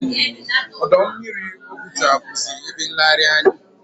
Ọdọ mmiri Oguta bụzi ebe nlegharị anya.